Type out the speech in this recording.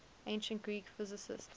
ancient greek physicists